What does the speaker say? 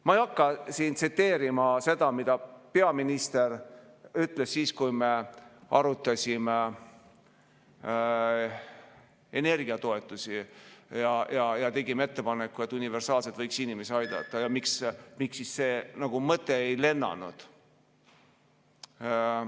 Ma ei hakka siin tsiteerima seda, mida peaminister ütles siis, kui me arutasime energiatoetusi ja tegime ettepaneku, et universaalselt võiks inimesi aidata, ja miks see mõte ei lennanud.